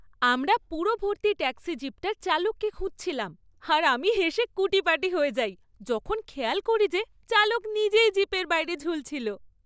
আমরা পুরো ভর্তি ট্যাক্সি জিপটার চালককে খুঁজছিলাম আর আমি হেসে কুটিপাটি হয়ে যাই, যখন খেয়াল করি যে, চালক নিজেই জিপের বাইরে ঝুলছিল।